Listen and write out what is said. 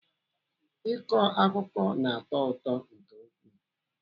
Ịkọ akụkọ na-atọ ụtọ nke ukwuu.